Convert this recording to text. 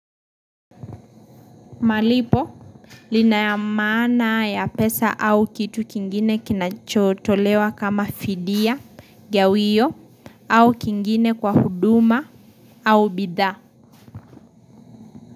Malipo lina yamana ya pesa au kitu kingine kinachotolewa kama fidia, gawio, au kingine kwa huduma, au bidha.